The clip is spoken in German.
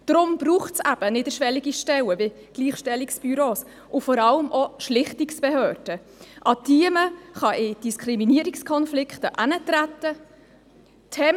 Deshalb braucht es eben niederschwellige Stellen wie Gleichstellungsbüros, und vor allem auch Schlichtungsbehörden, an die man im Fall von Diskriminierungskonfliken herantreten kann.